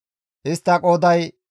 Istta qooday 59,300.